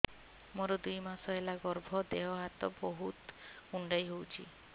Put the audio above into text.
ମୋର ଦୁଇ ମାସ ହେଲା ଗର୍ଭ ଦେହ ହାତ ବହୁତ କୁଣ୍ଡାଇ ହଉଚି